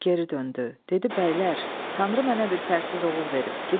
Dedi: Bəylər, Tanrı mənə bir fərsiz oğul verib.